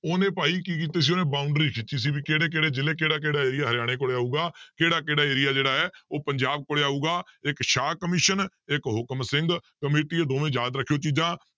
ਉਹਨੇ ਭਾਈ ਕੀ ਕੀਤੇ ਸੀ ਉਹਨੇ boundary ਖਿੱਚੀ ਸੀ ਵੀ ਕਿਹੜੇ ਕਿਹੜੇ ਜ਼ਿਲ੍ਹੇ ਕਿਹੜਾ ਕਿਹੜਾ area ਹਰਿਆਣੇ ਕੋਲ ਆਊਗਾ ਕਿਹੜਾ ਕਿਹੜਾ area ਜਿਹੜਾ ਹੈ ਉਹ ਪੰਜਾਬ ਕੋਲੇ ਆਊਗਾ ਇੱਕ ਸ਼ਾਹ ਕਮਿਸ਼ਨ ਇੱਕ ਹੁਕਮ ਸਿੰਘ ਕਮੇਟੀ ਇਹ ਦੋਵੇਂ ਯਾਦ ਰੱਖਿਓ ਚੀਜ਼ਾਂ